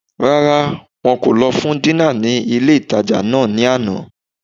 Rárá, wọn kò lọ fún dínà ní ilé-ìtánjẹ náà ní àná